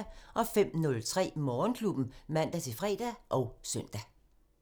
05:03: Morgenklubben (man-fre og søn)